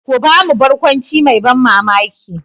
Ka ba mu barkwanci mai ban mamaki.